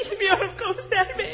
Bilmirəm, komissar bəy.